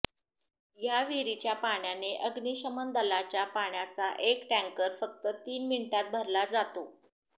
या विहिरीच्या पाण्याने अग्निशमन दलाच्या पाण्याचा एक टँकर फक्त तीन मिनिटांत भरला जातो